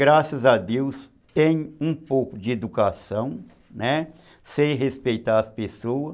Graças a Deus, tenho um pouco de educação, né, sei respeitar as pessoas.